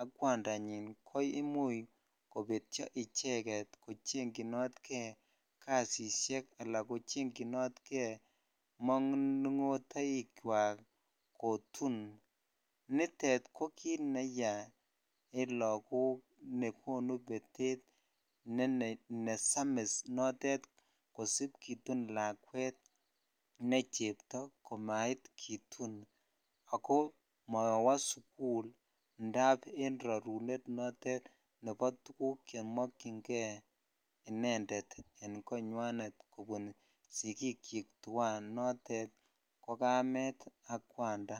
ak kwandanyin ko imuch kobetyoo icheget kochekchinotkei kasishek ala kochekchinotkei maningotaichwak kotun nitet ko kit neyaa en lakok nekonu Peter nesamis notet kisib kotun lakwet necheptoo komait kitun ako mowoo sukul indap en rurunet notetnebo tukuk chemokyin kei inended en konywanet sikikchwak tuan ko kamet ak kwanda.